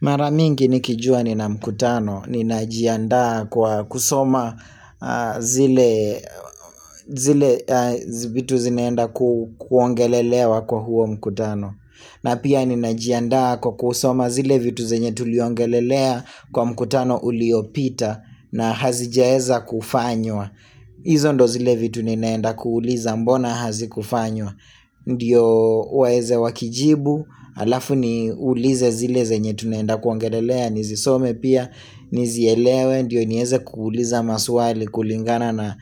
Mara mingi nikijua nina mkutano, ninajiandaa kwa kusoma zile zile vitu zinaenda kuongelelewa kwa huo mkutano. Na pia ninajiandaa kwa kusoma zile vitu zenye tuliongelelea kwa mkutano uliopita na hazijaeza kufanywa. IHizo ndo zile vitu ninaenda kuuliza mbona hazikufanywa. Ndiyo waeze wakijibu, alafu niulize zile zenye tunaenda kuongelelea, nizisome pia, nizielewe, ndiyo nieze kuuliza maswali kulingana na